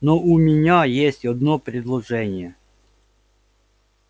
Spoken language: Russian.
но у меня есть одно предложение